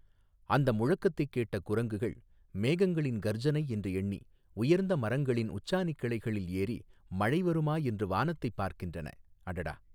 அந்த முழக்கத்தைக் கேட்ட குரங்குகள் மேகங்களின் கர்ஜனை என்று எண்ணி உயர்ந்த மரங்களின் உச்சாணிக் கிளைகளில் ஏறி மழை வருமா என்று வானத்தைப் பார்க்கின்றன அடடா.